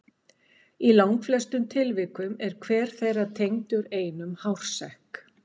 Í langflestum tilvikum er hver þeirra tengdur einum hársekk.